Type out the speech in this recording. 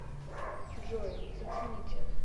джой зацените